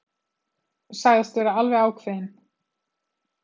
Sagðist vera alveg ákveðinn.